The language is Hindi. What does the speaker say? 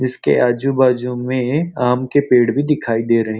जिसके आजू-बाजू में आम के पेड़ भी दिखाई दे रहे हैं।